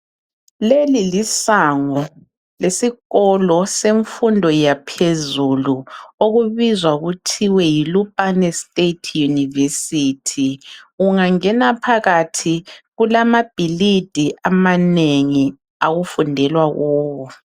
Leli lisango lesikolo semfundo yaphezulu okubizwa kuthwe Yi Lupane state university. Ungangena phakathi kulezakhiwo ezinengi okufundelwa kizo